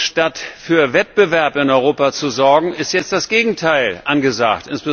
Statt für Wettbewerb in Europa zu sorgen, ist jetzt das Gegenteil angesagt.